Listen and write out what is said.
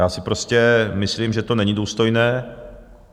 Já si prostě myslím, že to není důstojné.